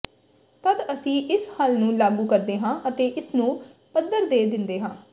ਤਦ ਅਸੀਂ ਇਸ ਹੱਲ ਨੂੰ ਲਾਗੂ ਕਰਦੇ ਹਾਂ ਅਤੇ ਇਸਨੂੰ ਪੱਧਰ ਦੇ ਦਿੰਦੇ ਹਾਂ